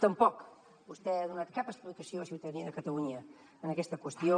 tampoc vostè ha donat cap explicació a la ciutadania de catalunya en aquesta qüestió